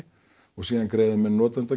og síðan greiða menn